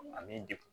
Ani degun